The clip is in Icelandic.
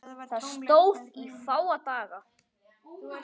Það stóð í fáa daga.